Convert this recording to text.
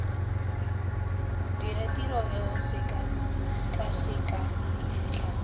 dira tiro eo sekakaseka ntlha